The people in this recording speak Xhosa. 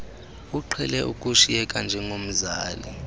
uqhele ukushiyeka njengomzali